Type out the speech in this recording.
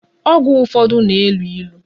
Ọgwụ ụfọdụ na-elu ilu